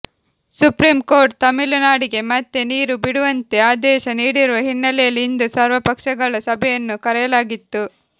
supreme court ತಮಿಳುನಾಡಿಗೆ ಮತ್ತೆ ನೀರು ಬಿಡುವಂತೆ ಆದೇಶ ನೀಡಿರುವ ಹಿನ್ನೆಲೆಯಲ್ಲಿ ಇಂದು ಸರ್ವಪಕ್ಷಗಳ ಸಭೆಯನ್ನು ಕರೆಯಲಾಗಿತ್ತು